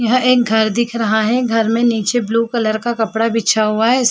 यहां एक घर दिख रहा है घर में नीचे ब्लू कलर का कपड़ा बिछा हुआ है इस --